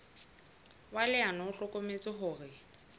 wa leano o hlokometse hore